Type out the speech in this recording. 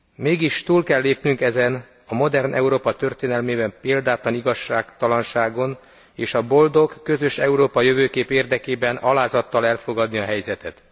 Mégis túl kell lépnünk ezen a modern Európa történelmében példátlan igazságtalanságon, és a boldog, közös európai jövőkép érdekében alázattal elfogadni a helyzetet.